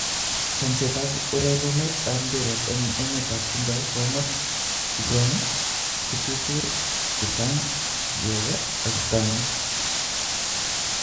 Chomset ab urerenet ab mbiret eng emet ab chumbek komuut 17.07.2020: Pogba, Havertz, Tagliafico, Sarr, Thiago.